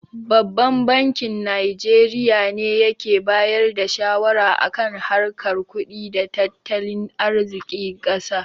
Babban bankin Najeriya ne yake bayar da shawara a kan harkar kudi da tattalin arzikin ƙasar.